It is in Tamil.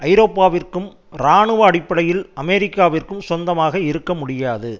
ஐரோப்பாவிற்கும் இராணுவ அடிப்படையில் அமெரிக்காவிற்கும் சொந்தமாக இருக்க முடியாது